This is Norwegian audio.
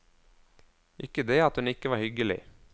Ikke det at hun ikke var hyggelig.